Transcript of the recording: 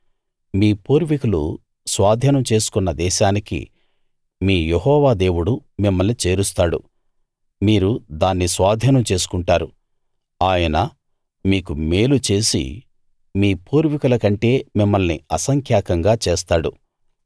మీ పూర్వీకులు స్వాధీనం చేసుకున్న దేశానికి మీ యెహోవా దేవుడు మిమ్మల్ని చేరుస్తాడు మీరు దాన్ని స్వాధీనం చేసుకుంటారు ఆయన మీకు మేలు చేసి మీ పూర్వీకుల కంటే మిమ్మల్ని అసంఖ్యాకంగా చేస్తాడు